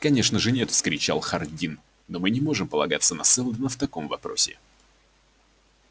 конечно же нет вскричал хардин но мы не можем полагаться на сэлдона в таком вопросе